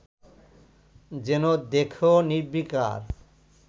যেন দেখেও নির্বিকার